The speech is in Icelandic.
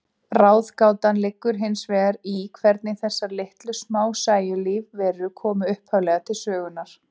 Ráðgátan liggur hins vegar í hvernig þessar litlu, smásæju lífverur komu upphaflega til sögunnar.